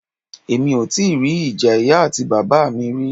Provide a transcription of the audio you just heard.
Emi o ti ri ija iya ati baba mi ri.